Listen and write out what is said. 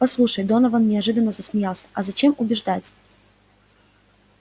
послушай донован неожиданно засмеялся а зачем убеждать